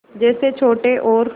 जैसे छोटे और